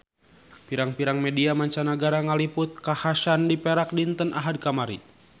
Pirang-pirang media mancanagara ngaliput kakhasan di Perak dinten Ahad kamari